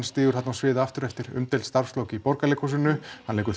stígur þarna á svið aftur eftir umdeild starfslok í Borgarleikhúsinu hann leikur